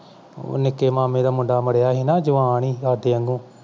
ਨਿੱਕੇ ਮਾਮੇ ਦਾ ਮੁੰਡਾ ਮਾਰਿਆ ਸੀ ਨਾ ਉਹ ਜਵਾਨ ਸੀ ਸਾਡੇ ਵਾਂਗੂੰ